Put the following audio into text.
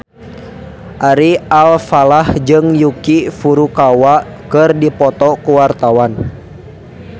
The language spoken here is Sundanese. Ari Alfalah jeung Yuki Furukawa keur dipoto ku wartawan